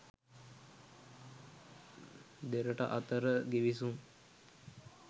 දෙරට අතර ගිවිසුම්